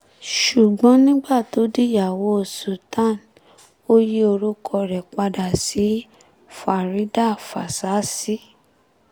ṣùgbọ́n nígbà tó dìyàwó sultan ò yí orúkọ rẹ̀ padà sí faridà fásisì